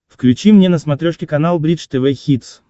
включи мне на смотрешке канал бридж тв хитс